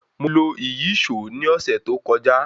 Mo lo ìyíṣòó ní ọ̀sẹ̀ tó kọjá.